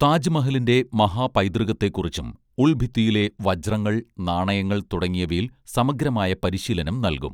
താജ്മഹലിന്റെ മഹാപൈതൃകത്തെ കുറിച്ചും ഉൾഭിത്തിയിലെ വജ്രങ്ങൾ നാണയങ്ങൾ തുടങ്ങിയവയിൽ സമഗ്രമായ പരിശീലനം നൽകും